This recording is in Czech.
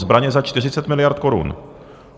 Zbraně za 40 miliard korun.